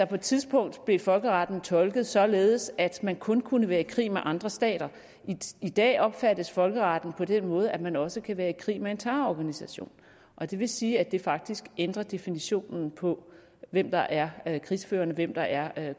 på et tidspunkt blev folkeretten tolket således at man kun kunne være i krig med andre stater i dag opfattes folkeretten på den måde at man også kan være i krig med en terrororganisation det vil sige at det faktisk ændrer definitionen på hvem der er krigsførende og hvem der er